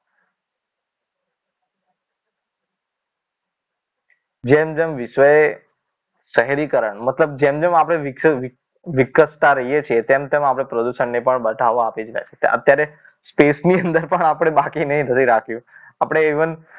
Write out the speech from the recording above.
જેમ જેમ વિષય શહેરીકરણ મતલબ જેમ જેમ આપણે વિકસતા રહીએ છીએ તેમ તેમ આપણે પ્રદૂષણને પણ બધાવા આપી રહ્યા છીએ અત્યારે space ની અંદર પણ બાકી નથી રાખ્યું આપણે even